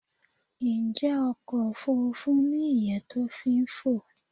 Njẹ́ ọkọ̀ òfurufú ni ìyẹ́ to fi n fo?